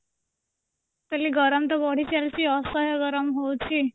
କହିଲି ଗରମ ତ ବଢିଚାଲିଛି ଅସହାୟ ଗରମ ହୋଉଛି